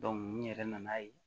n yɛrɛ nan'a ye